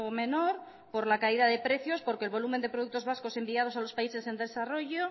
menor por la caída de precios porque el volumen de productos vascos enviados a los países en desarrollo